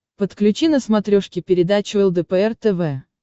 подключи на смотрешке передачу лдпр тв